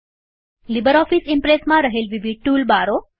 LibreOffice ઈમ્પ્રેસમાં રહેલ વિવિધ ટુલ બારો